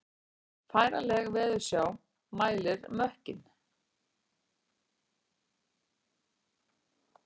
Færanleg veðursjá mælir mökkinn